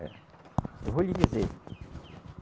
Eh, eu vou lhe dizer.